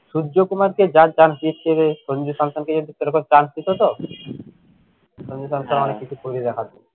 সূর্য কুমারকে যা chance দিচ্ছে রে সঞ্জিব শান্তনুকে যদি সেরকম chance দিত তো সঞ্জিব শান্তনু অনেক কিছু করে দেখাত।